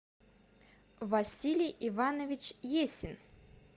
василий иванович есин